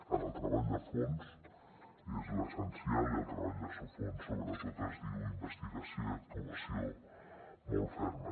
en el treball de fons és l’essencial i el treball de fons sobretot es diu investigació i actuació molt ferma